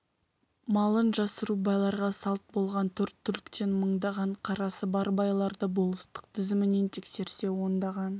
малын жасыру байларға салт болған төрт түліктен мыңдаған қарасы бар байларды болыстық тізімінен тексерсе ондаған